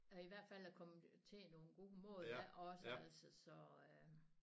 I hvert fald at komme til nogle gode mål af også altså så øh